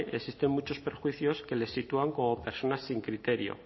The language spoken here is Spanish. existen muchos perjuicios que les sitúan como personas sin criterio